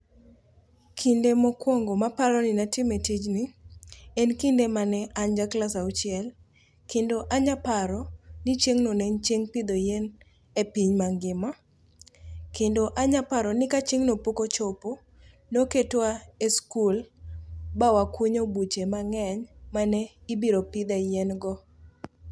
Kinde mokwongo maparo ni natime e tijni, en kinde mane an ja klas auchiel, kendo anyaparo, ni chieng'no ne en chieng' pidho yien, e piny mangima. Kendo anyaparo ni ka chieng'no pok ochopo, noketwa e skul, ba wakunyo buche mang'eny mane, ibiro pidhe e yien go